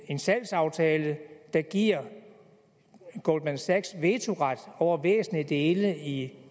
en salgsaftale der giver goldman sachs vetoret over væsentlige dele i